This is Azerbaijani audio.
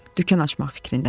Dükan açmaq fikrindədir.